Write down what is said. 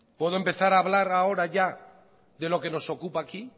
puedo empezar a hablar ahora ya de lo que nos ocupa aquí